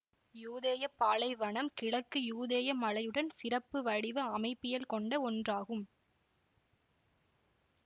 யூதேய பாலைவனம் கிழக்கு யூதேய மலையுடன் சிறப்பு வடிவ அமைப்பியல் கொண்ட ஒன்றாகும்